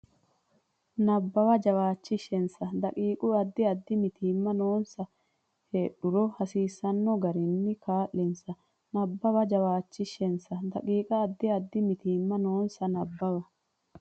Nabbawa jawaachishinsa daqiiqa Addi addi mitiimma noonsa heedhuro hasiisanno garinni kaa linsa Nabbawa jawaachishinsa daqiiqa Addi addi mitiimma noonsa Nabbawa.